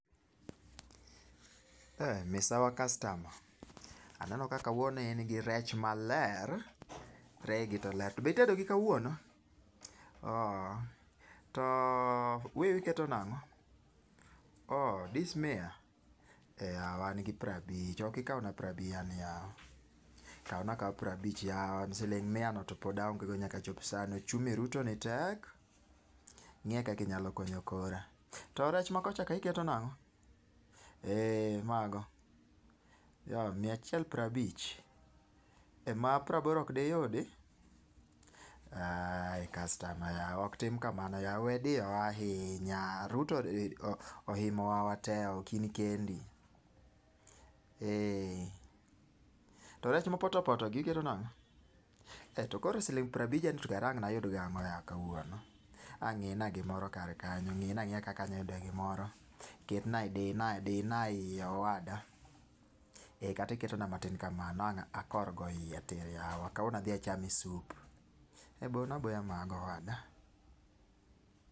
Misawa kastama aneno ka ka wuono in gi rech amelr, reyi gi to ler be itedo gi kuono, to wiu iketo nango? Oo dis mia e yawa gi piero abich ok ikaw na piero abich ni yawa siling mia no pod aonge nyaka chop sunday, uchumi Ruto ni tek ngiye kaka inyalo konyo kra to rech ma kuchocho to iketo nang'o e ma go oh mia achiel pero abich, ma peiro aboro ok de yudi? Yawa kastama ok tim kamano we diyo wa ahinya Ruto odiyo wa te ok in kendi. To rech ma potopoto ni to iketo nango? To koro siling piero abija ni to kara ang' ne ayud go ang'o yawa kawuono ang'ina gi moro kar kanyo ng'i na ang'iya kaka anya yudo gi moro, ket na, di na iye owada kata iketo na matin ka mano ang na akor go iye kawuono adhi achame soup, ee bo na aboya mano.